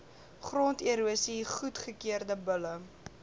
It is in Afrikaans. gronderosie goedgekeurde bulle